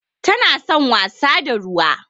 Tana son wasa da ruwa.